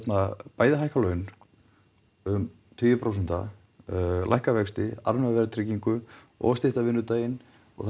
bæði hækka laun um tugi prósenta lækka vexti afnema verðtryggingu og stytta vinnudaginn það